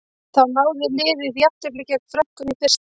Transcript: Þá náði liðið jafntefli gegn Frökkum í fyrsta leik.